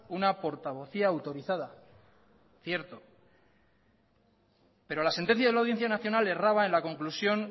una portavocía autorizada cierto pero la sentencia de la audiencia nacional erraba en la conclusión